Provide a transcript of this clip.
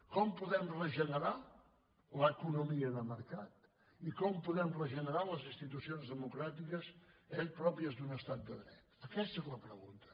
com podem regenerar l’economia de mercat i com podem regenerar les institucions democràtiques pròpies d’un estat de dret aquesta és la pregunta